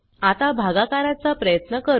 आता भगाकाराचा प्रयत्न करू